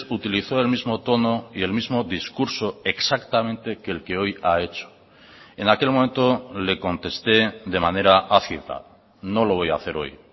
utilizó el mismo tono y el mismo discurso exactamente que el que hoy ha hecho en aquel momento le contesté de manera no lo voy a hacer hoy